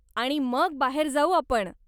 आणि मग बाहेर जाऊ आपण.